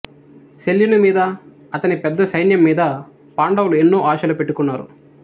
శల్యుని మీద అతని పెద్ద సైన్యం మీద పాండవులు ఎన్నో ఆశలు పెట్టుకున్నారు